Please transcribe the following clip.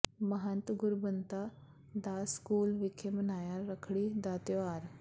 ਮਹੰਤ Gurbanta Das school ਵਿਖੇ ਮਨਾਇਆ ਰੱਖੜੀ ਦਾ ਤਿਉਹਾਰ